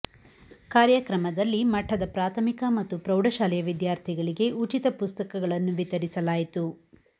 ಕಾರ್ಯಕ್ರಮದಲ್ಲಿ ಮಠದ ಪ್ರಾಥಮಿಕ ಮತ್ತು ಪ್ರೌಢಶಾಲೆಯ ವಿದ್ಯಾರ್ಥಿಗಳಿಗೆ ಉಚಿತ ಪುಸ್ತಕಗಳನ್ನು ವಿತರಿಸಲಾಯಿತು